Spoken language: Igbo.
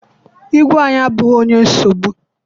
Igwe anyị abụghị onye nsogbu.